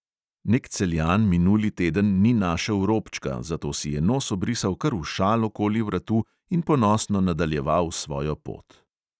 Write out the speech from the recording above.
Nek celjan minuli teden ni našel robčka, zato si je nos obrisal kar v šal okoli vratu in ponosno nadaljeval svojo pot.